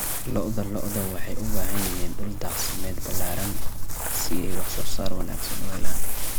Lo'da lo'da waxay u baahan yihiin dhul daaqsimeed ballaaran si ay wax soo saar wanaagsan u helaan.